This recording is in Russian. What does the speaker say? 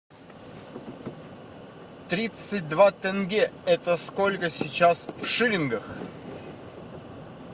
тридцать два тенге это сколько сейчас в шиллингах